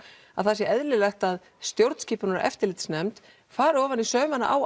að það sé eðlilegt að stjórnskipunar og eftirlitsnefnd fari ofan í saumana á